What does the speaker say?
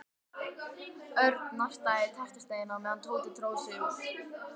Örn nartaði í tertusneiðina á meðan Tóti tróð sig út.